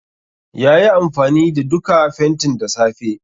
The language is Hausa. Yayi amfani da duka fentin da safe.